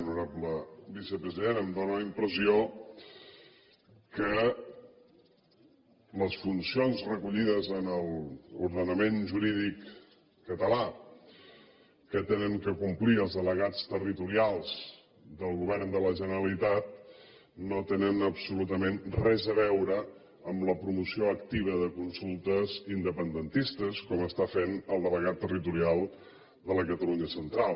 honorable vicepresident em dóna la impressió que les funcions recollides en l’ordenament jurídic català que han de complir els delegats territorials del govern de la generalitat no tenen absolutament res a veure amb la promoció activa de consultes independentistes com està fent el delegat territorial de la catalunya central